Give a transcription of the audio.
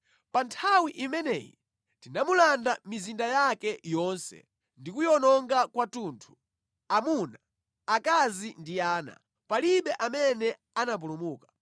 Pa nthawi imeneyi tinamulanda mizinda yake yonse ndi kuyiwononga kwathunthu, amuna, akazi ndi ana. Palibe amene anapulumuka.